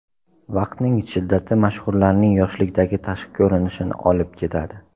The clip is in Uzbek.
Vaqtning shiddati mashhurlarning yoshlikdagi tashqi ko‘rinishini olib ketadi.